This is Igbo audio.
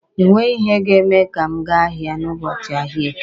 E nweghi ihe ga-eme ka m gaa ahịa n'ụbọchị ahịa Eke.